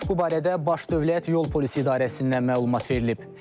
Bu barədə Baş Dövlət Yol Polisi İdarəsindən məlumat verilib.